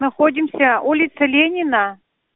находимся улица ленина